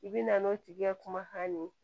I bɛ na n'o tigi ka kumakan ye